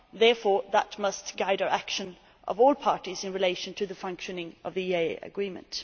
Therefore that must guide the action of all parties in relation to the functioning of the EEA Agreement.